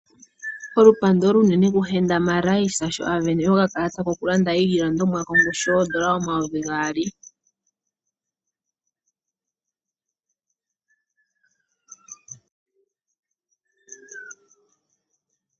Olupando olunene kuHenda Marais sho a vene okakalata kokulanda iilandomwa kongushu yoondola omayovi gaali.